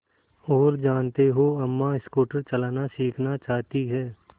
और जानते हो अम्मा स्कूटर चलाना सीखना चाहती हैं